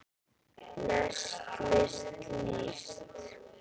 lest list líst